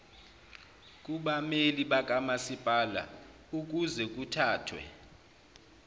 kubameli bakamasipala ukuzekuthathwe